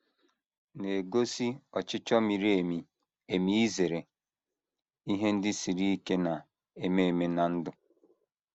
na - egosi ọchịchọ miri emi emi izere ihe ndị siri ike na - eme eme ná ndụ.